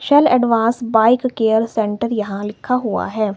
चल advance bike care centre यहां लिखा हुआ है।